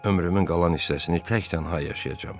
Ömrümün qalan hissəsini tək-tənha yaşayacam.